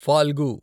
Phalgu